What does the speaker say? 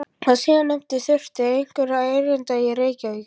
Sá síðarnefndi þurfti einhverra erinda til Reykjavíkur.